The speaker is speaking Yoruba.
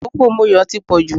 òfófó Moyo ti pọ̀ jù